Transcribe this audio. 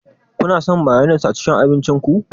Kuna son mayones a cikin abincin ku?